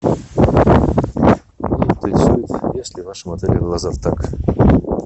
уточни есть ли в вашем отеле лазертаг